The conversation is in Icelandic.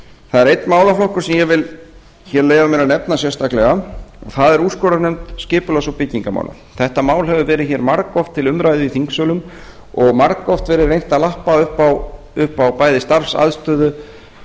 það er einn málaflokkur sem ég vil hér leyfa mér að nefna sérstaklega og það er úrskurðarnefnd skipulags og byggingarmála þetta mál hefur verið hér margoft til umræðu í þingsölum og margoft verið reynt að lappa upp á bæði starfsaðstöðu